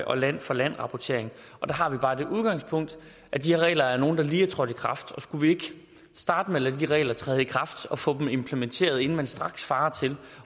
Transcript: og land for land rapportering der har vi bare det udgangspunkt at de regler er nogle der lige er trådt i kraft og skulle vi ikke starte med at lade de regler træde i kraft og få dem implementeret inden man straks farer til